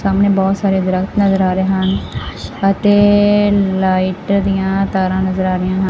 ਸਾਹਮਣੇ ਬਹੁਤ ਸਾਰੇ ਦਰਖਤ ਨਜ਼ਰ ਆ ਰਹੇ ਹਨ ਅਤੇ ਲਾਈਟ ਦੀਆਂ ਤਾਰਾਂ ਨਜ਼ਰ ਆ ਰਹੀਆਂ ਹਨ।